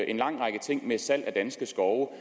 en lang række ting ved salg af danske skove